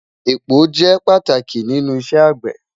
Epo jẹ pátàkì nínú Ìṣẹ̀ agbẹ́.